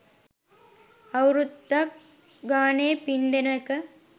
අවුරුද්දක් ගානේ පින් දෙන එක